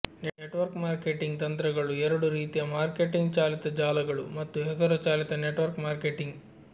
network marketing ತಂತ್ರಗಳು ಎರಡು ರೀತಿಯ ಮಾರ್ಕೆಟಿಂಗ್ ಚಾಲಿತ ಜಾಲಗಳು ಮತ್ತು ಹೆಸರು ಚಾಲಿತ ನೆಟ್ವರ್ಕ್ ಮಾರ್ಕೆಟಿಂಗ್